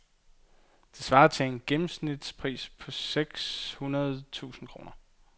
Det svarer til en gennemsnitspris på seks hundrede tusinde kroner.